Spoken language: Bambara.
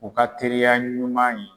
U ka teriya ɲuman ye.